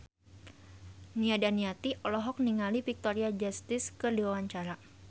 Nia Daniati olohok ningali Victoria Justice keur diwawancara